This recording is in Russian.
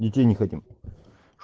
детей не хотим